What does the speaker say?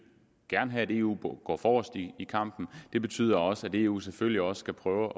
have at eu går forrest i i kampen det betyder også at eu selvfølgelig også skal prøve